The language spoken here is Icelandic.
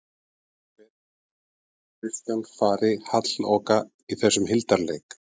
Það fer ekki hjá því að Kristján fari halloka í þessum hildarleik